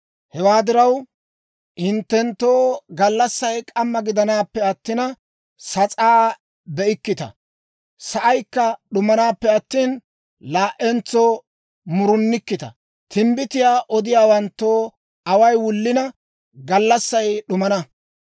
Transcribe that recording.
Hewaa diraw, hinttenttoo gallassay k'amma gidanappe attina, sas'aa be'ikkita; sa'aykka d'umanappe attina, laa"entso murunikkita. Timbbitiyaa odiyaawanttoo away wullina, gallassay d'umana.